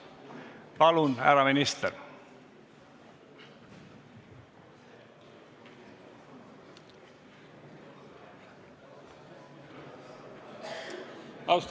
Palun, härra minister!